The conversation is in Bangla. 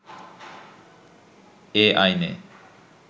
এ আইনে